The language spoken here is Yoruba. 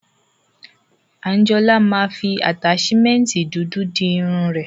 Anjola ma fi ataṣimẹnti dudu fi di irun ẹ.